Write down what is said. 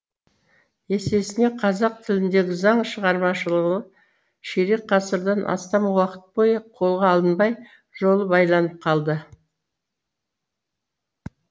есесіне қазақ тіліндегі заң шығармашылығы ширек ғасырдан астам уақыт бойы қолға алынбай жолы байланып қалды